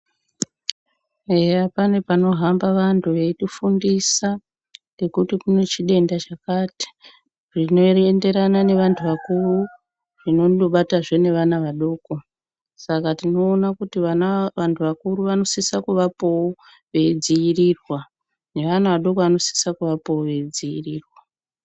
Eya pane panohamba vantu veyiti fundisa kuti kune chitenda chakati zvinoenderana ne antu akuru zvinondo bata futi ana adoko saka tinoona kuti antu akuru anosisa kuvapowo veidzivirirwa ne ana adoko anosisa kuvapowo veyi dzivirirwa.